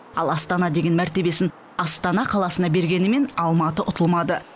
ал астана деген мәртебесін астана қаласына бергенімен алматы ұтылмады